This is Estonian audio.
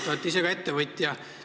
Te olete ise ka ettevõtja.